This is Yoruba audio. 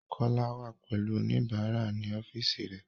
Kole wà pẹ̀lú oníbàárà ní ọ́fíìsì rẹẹ̀.